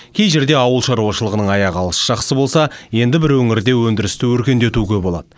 кей жерде ауыл шаруашылығының аяғы алыс жақсы болса енді бір өңірде өндірісті өркендетуге болады